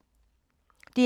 DR P2